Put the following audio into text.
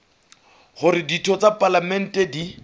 hore ditho tsa palamente di